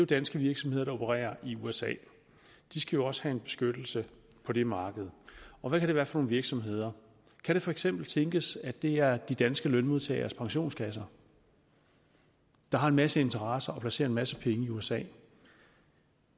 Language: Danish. danske virksomheder der opererer i usa de skal jo også have en beskyttelse på det marked og hvad kan det være for nogle virksomheder kan det for eksempel tænkes at det er de danske lønmodtageres pensionskasser der har en masse interesser og placerer en masse penge i usa